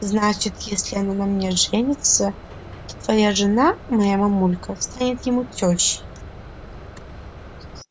значит если она на мне женится то твоя жена моя мамулька станет ему тёщей